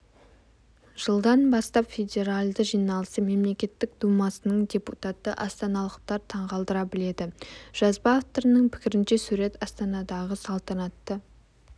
жылдан бастап федеральды жиналысы мемлекеттік думасының депутаты астаналықтар таңғалдыра біледі жазба авторының пікірінше сурет астанадағы салтанатты